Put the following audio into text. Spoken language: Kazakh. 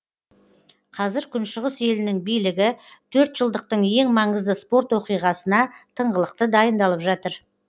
қазір күншығыс елінің билігі төртжылдықтың ең маңызды спорт оқиғасына тыңғылықты дайындалып жатыр